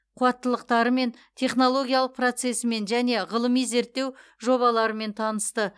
қуаттылықтарымен технологиялық процесімен және ғылыми зерттеу жобаларымен танысты